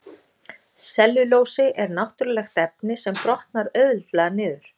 Sellulósi er náttúrulegt efni sem brotnar auðveldlega niður.